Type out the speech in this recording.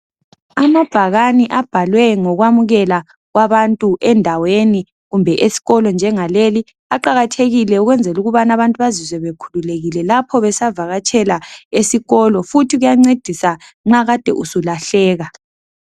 Amabhakane abhalwe ngokwamulela kwabantu endaweni kumbe esikolo njengaleli, aqakathekile ukwenzela ukubana abantu bazizwe bekhululekile lapho besavakatshela esikolo, futhi kuyancedisa nxa kade usulahleka.